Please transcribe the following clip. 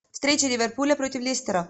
встреча ливерпуля против лестера